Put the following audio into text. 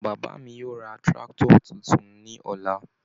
Bàbá mi yóò ra tractor tuntun ní ọ̀la.